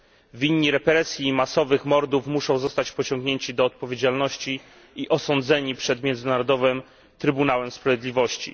Winni represji i masowych mordów muszą zostać pociągnięci do odpowiedzialności i osądzeni przed Międzynarodowym Trybunałem Sprawiedliwości.